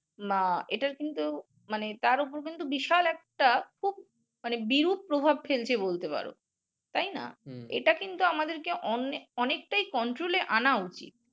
না এটার কিন্তু মানে তার উপর কিন্তু বিশাল একটা খুব বিরূপ প্রভাব ফেলছে বলতে পারো তাই না? এটা কিন্তু আমাদের কে অনেক অনেকটাই control এ আনা উচিৎ